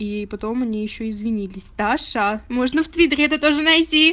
и потом они ещё извинились даша можно в твиттере это тоже найти